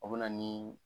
O bɛ na ni